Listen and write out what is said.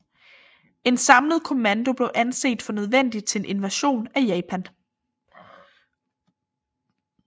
En samlet kommando blev anset for nødvendig til en invasion af Japan